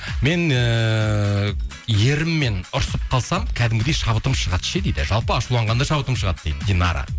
мен ііі еріммен ұрысып қалсам кәдімгідей шабытым шығады ше дейді жалпы ашуланғанда шабытым шығады дейді динара